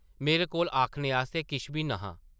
मेरे कोल आखने आस्तै किश बी न’हा।